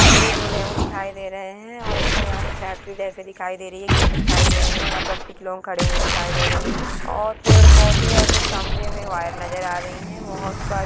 मुझे दो लियोन दिखाई दे रहे हैं और मुझे यहाँ कुछ फैक्ट्री जैसे दिखाई दे रही हैं गेट दिखाई दे रहे हैं वहाँ कुछ लोग खड़े हुए दिखाई दे रहे हैं और पेड़-पौधे और कुछ खम्भे में वायर नजर आ रही हैं। बहुत फर्स--